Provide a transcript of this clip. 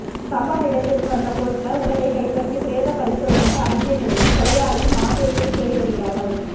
சம்பவ இடத்திற்கு வந்த பொலிசார் உடலை கைப்பற்றி பிரேத பரிசோதனைக்கு அனுப்பிய நிலையில் கொலையாளி மாதேஷை தேடி வருகிறார்கள்